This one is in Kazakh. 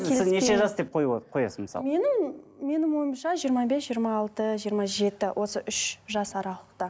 сіз сіз неше жас деп қоясыз мысалы менің менің ойымша жиырма бес жиырма алты жиырма жеті осы үш жас аралықта